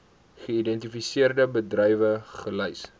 geïdentifiseerde bedrywe gelys